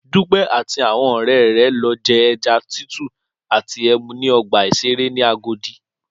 Dúpẹ́ àti àwọn ọ̀rẹ́ rẹ̀ lọ je ẹja tútù àti ẹmu ní ọgbà ìṣeré ní Agodi